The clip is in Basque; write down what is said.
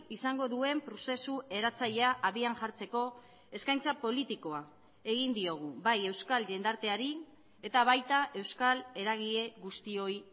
izango duen prozesu eratzailea habian jartzeko eskaintza politikoa egin diogu bai euskal jendarteari eta baita euskal eragile guztioi